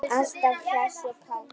Alltaf hress og kát.